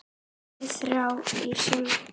Þeir þrá að syndga.